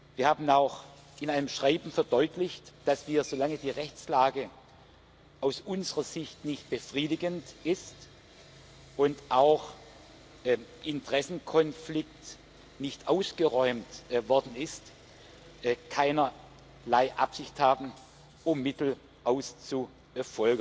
Wir haben in einem Schreiben auch verdeutlicht, dass wir, solange die Rechtslage aus unserer Sicht nicht befriedigend ist und auch der Interessenkonflikt nicht ausgeräumt worden ist, keinerlei Absicht haben, Mittel auszufolgen.